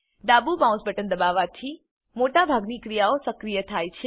ડાબુ mouse button દબાવવાથી મોટા ભાગની ક્રિયાઓ સક્રિય થાય છે